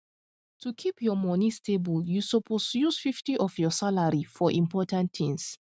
to keep your money stable you suppose use 50 of your salary for important things